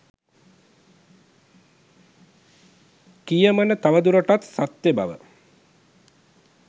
කියමන තවදුරටත් සත්‍ය බව